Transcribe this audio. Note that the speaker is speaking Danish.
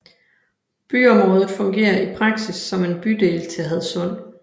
Byområdet fungerer i praksis som en bydel til Hadsund